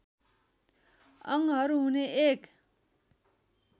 अङ्गहरू हुने एक